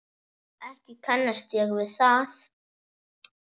Ekki kannast ég við það.